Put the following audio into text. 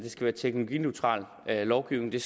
være teknologineutral lovgivning det